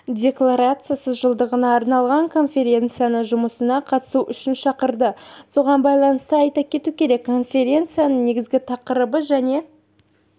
декларациясы жылдығына арналған конференцияның жұмысына қатысу үшін шақырды соған байланысты айта кету керек конференцияның негізгі тақырыбы және